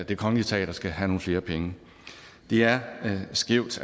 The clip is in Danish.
det kongelige teater skal have nogle flere penge det er skævt